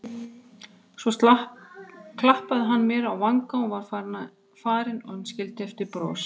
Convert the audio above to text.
Svo klappaði hann mér á vanga og var farinn en skildi eftir bros.